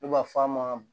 Ne b'a fɔ a ma